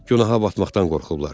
Günaha batmaqdan qorxublar.